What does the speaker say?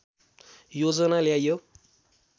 योजना ल्याइयो